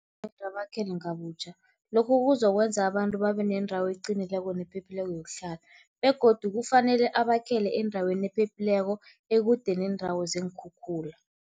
Urhulumende abakhele kabutjha, lokhu kuzokwenza abantu babe nendawo eqinileko nephephileko yokuhlala begodu kufanele abakhele endaweni ephephileko ekude neendawo zeenkhukhula.